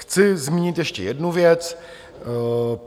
Chci zmínit ještě jednu věc.